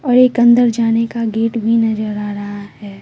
और एक अंदर जाने का गेट भी नजर आ रहा है।